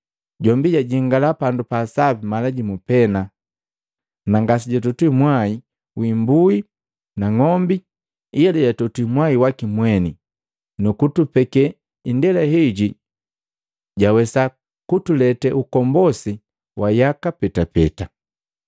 Jombi jajingala Pandu pa Sapi mala jimu pena na ngasejwatotwi mwai wi imbui na ng'ombi ila jatotwi mwai waki mweni, nu kutupeke indela heji jawesa kutulete ukombosi wa yaka petapeta.